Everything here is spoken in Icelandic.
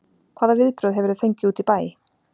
Hvaða viðbrögð hefurðu fengið úti í bæ?